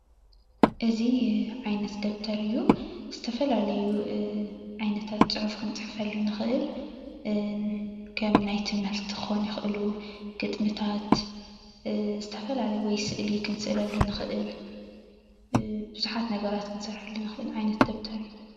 እዚ ዓይነት ደፍተር እዩ ዝተፈላለዩ ዓይነታት ፅሑፍ ክንፅሕፈሉ ንክእል ከም ናይ ትምህርቲ ክኮኑ ይክእሉ ግጥምታት ዝተፈላለዩ ወይ ስእሊ ክንስእለሉ ንክእል ብዙሓት ነገራት ክንሰርሐሉ ንክእል ዓይነት ደፍተር እዩ፡፡